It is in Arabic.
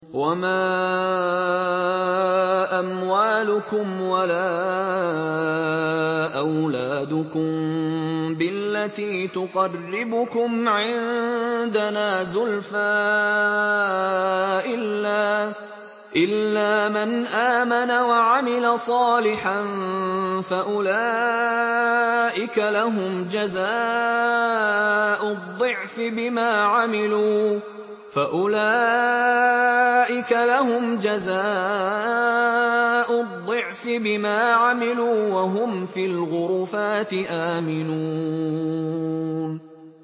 وَمَا أَمْوَالُكُمْ وَلَا أَوْلَادُكُم بِالَّتِي تُقَرِّبُكُمْ عِندَنَا زُلْفَىٰ إِلَّا مَنْ آمَنَ وَعَمِلَ صَالِحًا فَأُولَٰئِكَ لَهُمْ جَزَاءُ الضِّعْفِ بِمَا عَمِلُوا وَهُمْ فِي الْغُرُفَاتِ آمِنُونَ